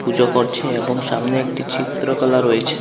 পুজো করছে এবং সামনে একটি চিত্রকলা রয়েছে।